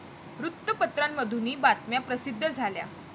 वृत्तपत्रांमधूनही बातम्या प्रसिद्ध झाल्या.